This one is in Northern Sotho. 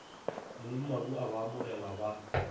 mongmabu a ba amogele ba